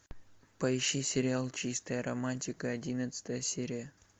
поищи сериал чистая романтика одиннадцатая серия